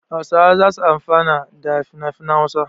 Hausawa za su amfana da finafinan Hausa.